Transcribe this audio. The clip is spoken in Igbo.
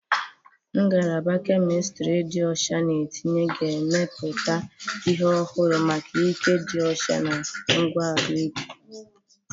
Ngalaba Kemistiri dị ọcha na etinyere ga-emepụta ihe ọhụrụ maka ike dị ọcha na ngwa ahụike.